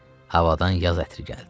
Havadan yaz ətri gəldi.